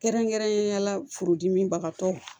Kɛrɛnkɛrɛnnenya la furudimibagatɔw